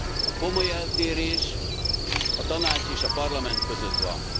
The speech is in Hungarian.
A komoly eltérés a Tanács és a Parlament között van.